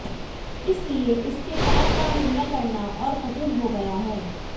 इसलिए इसके काल का निर्णय करना और कठिन हो गया है